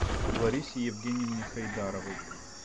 ларисе евгеньевне хайдаровой